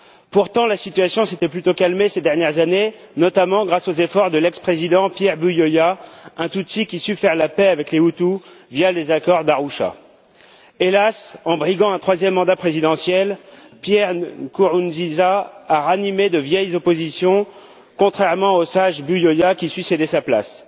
Pourtant, la situation s'était plutôt calmée ces dernières années, notamment grâce aux efforts de l'ex président Pierre Buyoya, un tutsi qui avait su faire la paix avec les Hutus via les accords d'Arusha. Hélas, en briguant un troisième mandat présidentiel, Pierre Nkurunziza a ranimé de vieilles oppositions, contrairement au sage Buyoya, qui avait su céder sa place.